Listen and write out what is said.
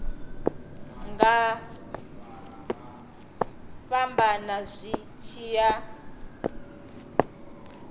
nga fhambana zwi tshi ya